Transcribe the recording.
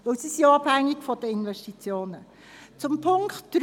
Zudem sind sie von den Investitionen abhängig.